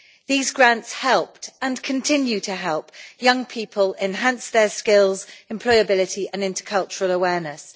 These grants helped and continue to help young people enhance their skills and employability and intercultural awareness.